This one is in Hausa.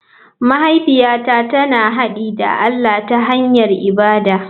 Mahaifiyata tana haɗi da allah ta hanyar ibada.